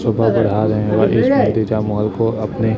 mall को अपने--